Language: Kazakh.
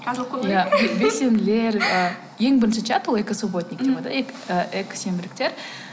белсенділер ең бірінші чат ол экосубботник деп экосенбіліктер